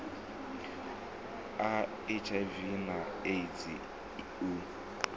a hiv na eidzi u